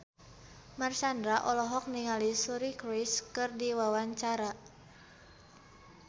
Marshanda olohok ningali Suri Cruise keur diwawancara